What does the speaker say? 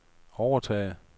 overtage